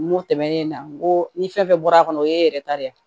N ko tɛmɛnen na n ko ni fɛn fɛn bɔra a kɔnɔ o ye yɛrɛ ta de ye